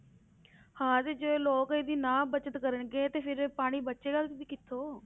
ਹਾਂ ਤੇ ਜੇ ਲੋਕ ਇਹਦੀ ਨਾ ਬਚਤ ਕਰਨਗੇ, ਤੇ ਫਿਰ ਇਹ ਪਾਣੀ ਬਚੇਗਾ ਵੀ ਕਿੱਥੋਂ।